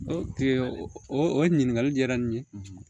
o o ɲininkali diyara n ye